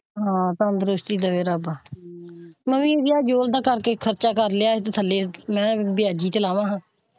ਹਾਂ ਤੰਦਰੁਸਤੀ ਦਵੇ ਰੱਬ ਮੈਂ ਵੀ ਕਰਕੇ ਖਰਚਾ ਕਰ ਲਿਆ ਹੈ ਥੱਲੇ ਮੈਂ ਕਹਿਆ ਵਿਆਜੀ ਤੇ ਲਾਵਾ ਹਾਂ ਅੱਛਾ।